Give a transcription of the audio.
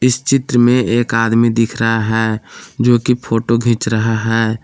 इस चित्र में एक आदमी दिख रहा है जो कि फोटो खिंच रहा है।